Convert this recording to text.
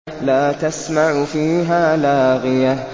لَّا تَسْمَعُ فِيهَا لَاغِيَةً